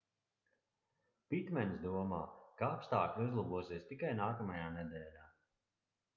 pitmens domā ka apstākļi uzlabosies tikai nākamajā nedēļā